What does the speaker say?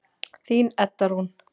Þín Edda Rún.